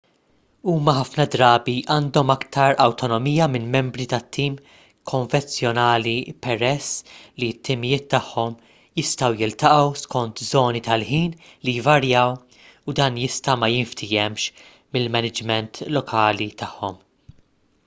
huma ħafna drabi għandhom aktar awtonomija minn membri ta' tim konvenzjonali peress li t-timijiet tagħhom jistgħu jiltaqgħu skont żoni tal-ħin li jvarjaw u dan jista' ma jinftiehemx mill-maniġment lokali tagħhom